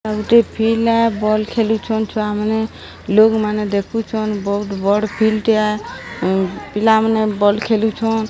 ଗୋଟେ ପିଲା ବଲ୍ ଖେଳୁଛନ ଛୁଆମାନେ ଲୋକ୍ ମାନେ ଦେଖୁଛନ୍ ବହୁତ୍ ବଡ଼ ଫିଲ୍ଡ ଟେ ଆ ପିଲାମାନେ ବଲ୍ ଖେଳୁଛନ୍।